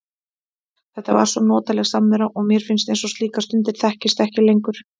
Þetta var svo notaleg samvera og mér finnst eins og slíkar stundir þekkist ekki lengur.